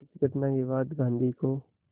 इस घटना के बाद गांधी को